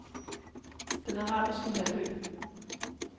Den Arabiske Halvø